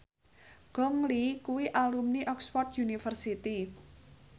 Gong Li kuwi alumni Oxford university